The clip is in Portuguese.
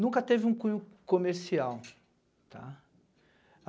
nunca teve um cunho comercial, tá.